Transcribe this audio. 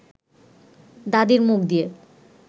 দাদির মুখ দিয়ে